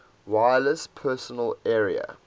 wireless personal area